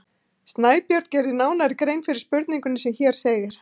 Snæbjörn gerir nánari grein fyrir spurningunni sem hér segir: